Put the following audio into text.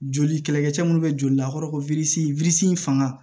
Joli kɛlɛkɛcɛ minnu bɛ joli lakɔrɔ fanga